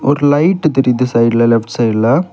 ஒரு லைட் தெரியுது சைடுல லெஃப்ட் சைட்ல .